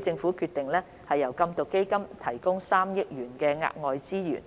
政府決定由禁毒基金提供3億元額外資源，